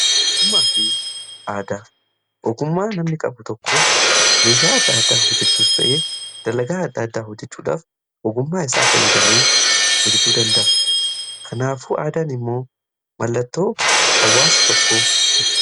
Ogumnaaf aadaa, ogummaa namni qabu tokko meeshaa adda addaa hojjechuus ta'ee dalagaa adda addaa hojjechuudhaaf ogummaa isaa fayyadamee hojechuu danda'a . Kanaafuu aadaan immoo mallattoo hawwaasa tokkoti.